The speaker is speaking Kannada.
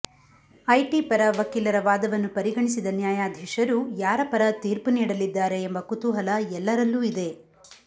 ಐಟಿ ಪರ ವಕೀಲರ ವಾದವನ್ನು ಪರಿಗಣಿಸಿದ ನ್ಯಾಯಾಧೀಶರು ಯಾರ ಪರ ತೀರ್ಪು ನೀಡಲಿದ್ದಾರೆ ಎಂಬ ಕುತೂಹಲ ಎಲ್ಲರಲ್ಲೂ ಇದೆ